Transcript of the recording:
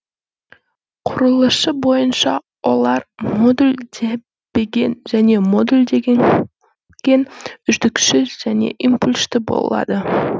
құрылысы бойынша олар модульденбеген және модулденген үздіксіз және импульсті болады